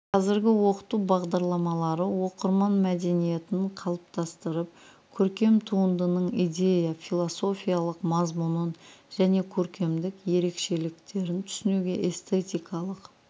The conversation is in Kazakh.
қазіргі оқыту бағдарламалары оқырман мәдениетін қалыптастырып көркем туындының идея-философиялық мазмұнын және көркемдік ерекшеліктерін түсінуге эстетикалық